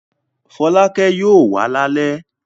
Fọlákẹ́ yóò wá lálẹ́?